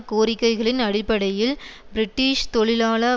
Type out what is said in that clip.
கோரிக்கைகளின் அடிப்படையில் பிரிட்டிஷ் தொழிலாள